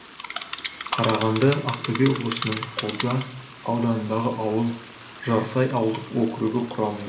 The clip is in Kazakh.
қарағанды ақтөбе облысының қобда ауданындағы ауыл жарсай ауылдық округі құрамында